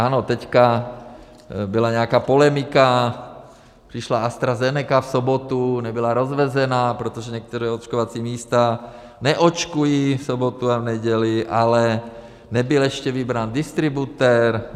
Ano, teďka byla nějaká polemika, přišla AstraZeneca v sobotu, nebyla rozvezená, protože některá očkovací místa neočkují v sobotu a v neděli, ale nebyl ještě vybrán distributor.